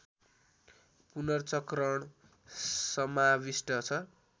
पुनर्चक्रण समाविष्ट छ